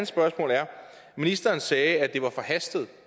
spørgsmål er ministeren sagde at det var forhastet